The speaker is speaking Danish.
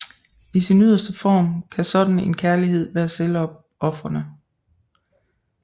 I sin yderste form kan sådan en kærlighed være selvopofrende